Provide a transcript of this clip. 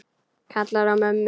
Kallar á mömmu.